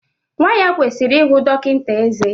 Nwa ya kwesịrị ihụ dọkịta ezé